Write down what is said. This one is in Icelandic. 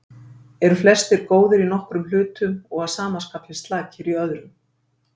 Eru flestir góðir í nokkrum hlutum og að sama skapi slakir í öðrum.